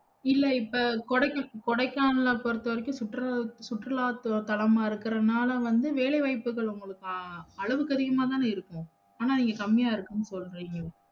இல்ல இப்ப கொடைக்கானல்~ கொடைக்கானல்ல பொருத்தவரைக்கும் சுற்றுலா சுற்றுலாதலமா இருக்கறனால வந்து வேலைவைபுகள் உங்களுக்கு அளவுக்கத்திகமாதன இருக்கும் அனா நீங்க கம்மியா இருக்குனு சொல்றிங்க